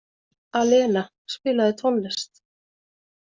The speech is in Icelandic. Alena, spilaðu tónlist.